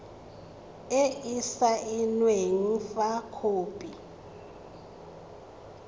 e e saenweng fa khopi